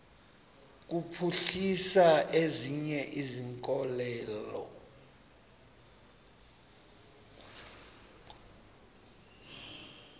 kuphuhlisa ezinye izikhokelo